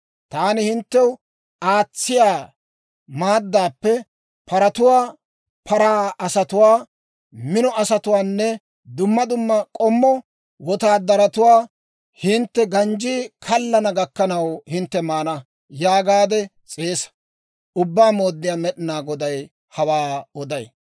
Taani hinttew aatsiyaa maaddaappe paratuwaa, paraa asatuwaa, mino asatuwaanne dumma dumma k'ommo wotaadaratuwaa hintte ganjjii kallana gakkanaw hintte maana» yaagaade s'eesa. Ubbaa Mooddiyaa Med'inaa Goday hawaa oday.